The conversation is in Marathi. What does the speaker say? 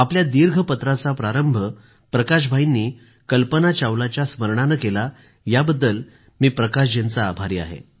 आपल्या दीर्घपत्राचा प्रारंभ प्रकाश भाईंनी कल्पना चावलाच्या स्मरणानं केला याबद्दल मी भाई प्रकाशजींचा आभारी आहे